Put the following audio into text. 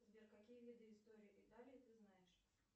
сбер какие виды истории италии ты знаешь